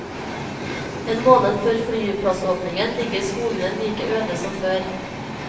En måned før flyplassåpning ligger skogene like øde som før.